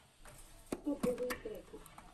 топовые треки